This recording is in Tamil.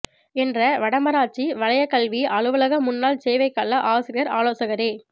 என்ற வடமராட்சி வலயக் கல்வி அலுவலக முன்னாள் சேவைக்கால ஆசிரியர் ஆலோசகரே